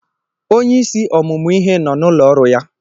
Onyeisi ọmụmụ ihe nọ n'ụlọ ọrụ ya.